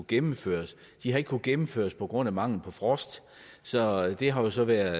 gennemført de har ikke kunnet gennemføres på grund af mangel på frost så det har måske været